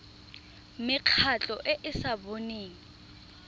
mekgatlho e e sa boneng